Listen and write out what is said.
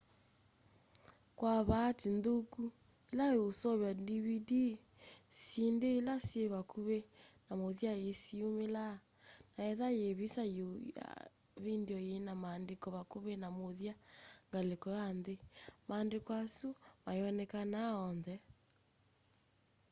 kwa vaatĩĩ nthũkũ ĩla ũseũvya dvd syĩndĩ ĩla syĩ vakũmĩ na mũthya sĩyũmĩlaa na etha yĩ vĩsa yũ ya vĩndĩo yĩna maandĩko vakũvĩ na mũthya ngalĩko ya nthĩ maandĩko asũ mayonekanaa onthe